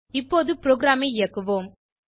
இப்போது ப்ரோகிராமை இயக்குவோம்